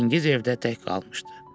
Çingiz evdə tək qalmışdı.